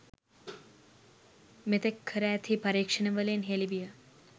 මෙතෙක් කර ඇති පරීක්ෂණවලින් හෙළි විය